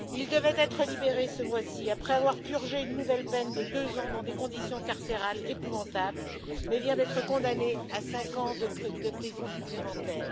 Il devait être libéré ce mois ci après avoir purgé une nouvelle peine de 2 ans dans des conditions carcérales épouvantables, mais vient d'être condamné à 5 ans de prison supplémentaires.